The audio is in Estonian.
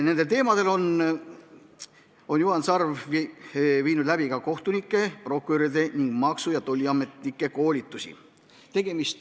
Nendel teemadel on Juhan Sarv viinud läbi ka kohtunike, prokuröride ning maksu- ja tolliametnike koolitusi.